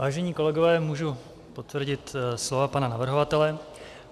Vážení kolegové, můžu potvrdit slova pana navrhovatele.